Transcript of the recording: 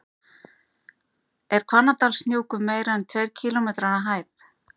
Er Hvannadalshnjúkur meira en tveir kílómetrar að hæð?